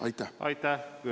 Aitäh!